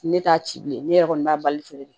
Ne t'a ci bilen ne yɛrɛ kɔni b'a bali feere